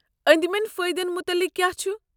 اندِمیٚن فأیدن متعلق کیٛاہ چھ؟